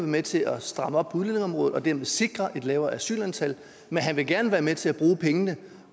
med til at stramme op på udlændingeområdet og dermed sikre et lavere asylantal men han vil gerne være med til at bruge pengene